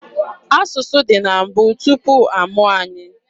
Asụsụ dị na mbụ, tupu amụọ anyị.